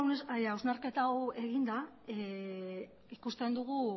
hausnarketa hau eginda ikusten dugu